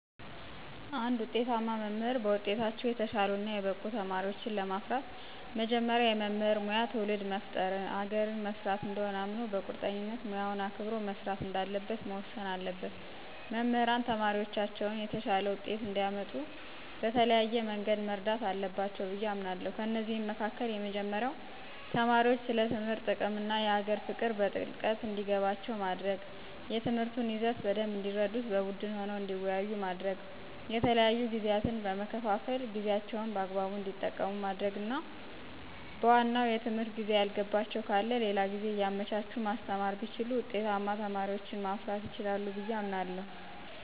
እንድ ውጤታማ መምህር በውጤታቸው የተሻሉ እና የበቁ ተማሪወችን ለማፍራት መጀመሪያ የመምህር ሙያ ትውልድ መፍጠር አገርን መስራት እንደሆነ አምኖ በቁርጠኝነት ሙያውን አክብሮ መስራት እንዳለበት መወሰን አለበት። መምህራን ተማሪዎቻቸውን የተሻለ ውጤት እንዲአመጡ በተለያየ መንገድ መርዳት አለባቸው ብዬ አምናለሁ። ከእነዚህም መካከል የመጀመሪያው ተማሪዎች ስለ ትምህርት ጥቅም እና የሀገር ፍቅር በጥልቀት እንዲገባቸው ማድረግ፣ የትምህርቱን ይዘት በደንብ እንዲረዱት በቡድን ሆነው እንዲወያዩ ማድረግ፣ የተለያዩ ጊዜያትን በመከፋፈል ጊዜአቸውን በአግባቡ እንዲጠቀሙ ማድረግና በዋናው የትምህርት ጊዜ ያልገባቸው ካለ ሌላ ጊዜ እያመቻቹ ማስተማር ቢችሉ ውጤታማ ተማሪዎችን ማፍራት ይችላሉ ብየ አምናለሁ።